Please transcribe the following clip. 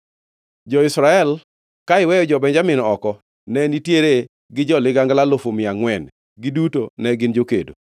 Jo-Israel, ka iweyo jo-Benjamin oko, ne nitiere gi jo-ligangla alufu mia angʼwen, giduto ne gin jokedo.